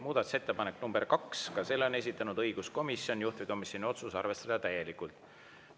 Muudatusettepanek nr 2, selle on esitanud õiguskomisjon, juhtivkomisjoni otsus: arvestada täielikult.